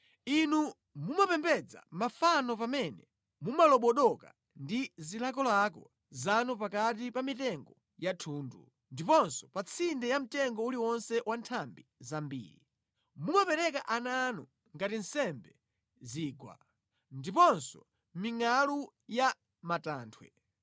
Inu mumapembedza mafano pamene mumalobodoka ndi zilakolako zanu pakati pa mitengo ya thundu, ndiponso pa tsinde pa mtengo uliwonse wa nthambi zambiri. Mumapereka ana anu ngati nsembe mu zigwa ndiponso mʼmingʼalu ya mʼmatanthwe.